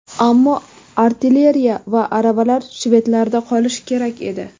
Ammo artilleriya va aravalar shvedlarda qolishi kerak edi.